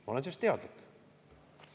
Ma olen sellest teadlik.